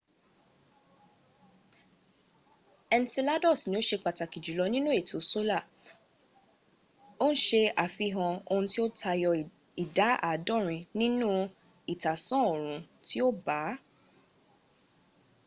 enceladus ni ó ṣe pàtàkì jùlọ nínú ètò solar ó ń ṣe àfihàn ohun tí ó tayọ ìdá àádọ́rin nínú ìtàsán oòrun tí ó bà á